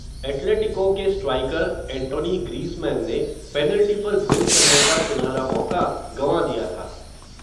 Atletico के striker Antoine Griezmann ने, penalty पर गोल करने का सुनहरा मौक़ा गँवा दिया था.